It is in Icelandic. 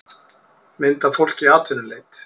mynd af fólki í atvinnuleit